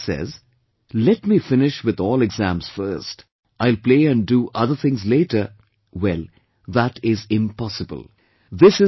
If someone says, "Let me finish with all exams first, I will play and do other things later"; well, that is impossible